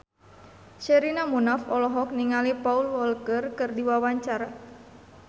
Sherina Munaf olohok ningali Paul Walker keur diwawancara